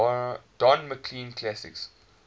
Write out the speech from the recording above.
don mclean classics